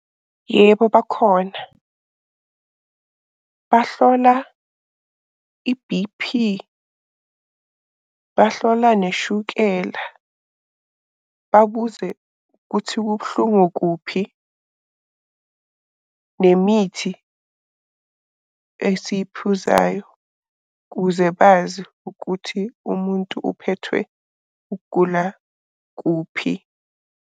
Yebo bakhona. Bahlola i-B_P, bahlola neshukela, babuze ukuthi kubuhlungu kuphi, nemithi esiyiphuzayo kuze bazi ukuthi umuntu uphethwe ukugula kuphi.